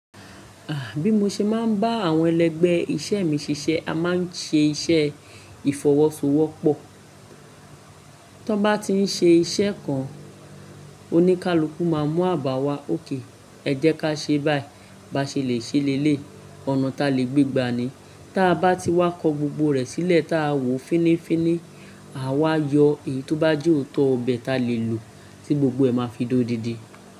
Ah, bí mo ṣe máa ń bá àwọn ẹlẹgbẹ́ iṣẹ́ mi ṣiṣẹ́, a máa ń ṣe iṣẹ́ ìfọwọ́sowọ́pọ̀. Tọ́ bá tí ń ṣe iṣẹ́ kan, oníkálukú máa mú àbàwá ókè. Ẹ jẹ́ ká ṣe báyìí, bá ṣe lè ṣe lé léyi, ọ̀nà ta lè gbé gbani. Tí a bá ti wá kọ gbogbo rẹ̀ sílẹ̀ tí a wò fínnífínní, àwa yọ èyí tó bá jẹ́ òótọ́ ọbẹ̀ ta lè lò tí gbogbo ẹ máa fi dó didi.